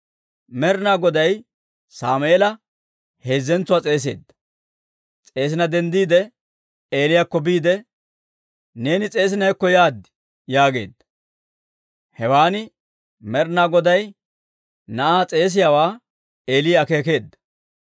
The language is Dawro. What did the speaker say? Med'inaa Goday Sammeela heezzentsuwaa s'eesina denddiide, Eeliyaakko biide, «Neeni s'eesina hekko yaad» yaageedda. Hewan Med'inaa Goday na'aa s'eesiyaawaa Eeli akeekeedda;